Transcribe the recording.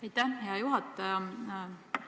Aitäh, hea juhataja!